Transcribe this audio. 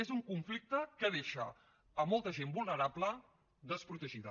és un conflicte que deixa a molta gent vulnerable desprotegida